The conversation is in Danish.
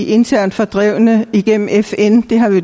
internt fordrevne